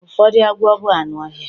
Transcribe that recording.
Ụfọdụ agwọ bụ anụ ọhịa